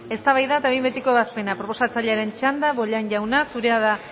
eztabaida eta behin betiko ebazpena proposatzailaren txanda bollain jauna zurea da